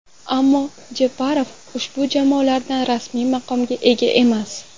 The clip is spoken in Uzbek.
Ammo Jeparov ushbu jamoalarda rasmiy maqomga ega emas.